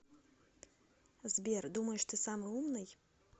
сбер думаешь ты самый умный